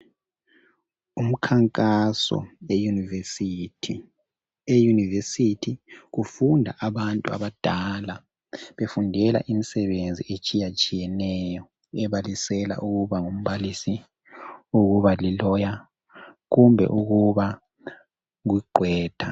Umkhankaso weyunivesithi. Eyunivesithi kufunda abantu abadala befundela imisebenzi etshiyetshiyeneyo ebalisela ukuba ngumbalisi, ukuba ligqwetha kumbe ukuba ngudokotela.